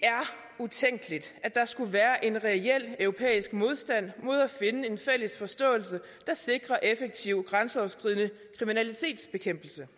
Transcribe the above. er skulle være en reel europæisk modstand mod at finde en fælles forståelse der sikrer effektiv grænseoverskridende kriminalitetsbekæmpelse